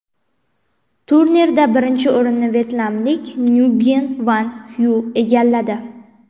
Turnirda birinchi o‘rinni vyetnamlik Nguyen Van Xyuy egalladi.